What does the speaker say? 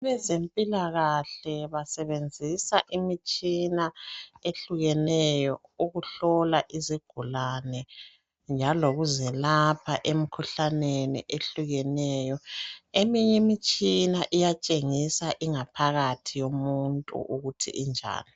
Abezempilakahle basebenzisa imitshina ehlukeneyo ukuhlola izigulane. Njalo lokuzilapha emkhuhlaneni ehlukeneyo. Eminyimitshina iyatshengisa ingaphakathi yomuntu ukuthi injani.